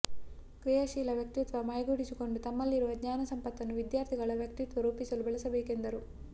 ಕ್ರಿಯಾಶೀಲ ವ್ಯಕ್ತಿತ್ವ ಮೈಗೂಡಿಸಿಕೊಂಡು ತಮ್ಮಲ್ಲಿರುವ ಜ್ಞಾನ ಸಂಪತ್ತನ್ನು ವಿದ್ಯಾರ್ಥಿಗಳ ವ್ಯಕ್ತಿತ್ವ ರೂಪಿಸಲು ಬಳಸಬೇಕೆಂದರು